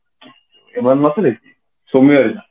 ଏବେ ଆମେ ନଥିଲେ କି ସୁମି ଆଇଲା